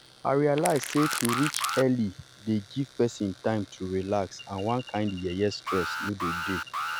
i realize sey to reach early dey give person time to relax and one kind yeye stress no go dey.